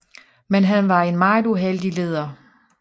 Men han var en meget uheldig leder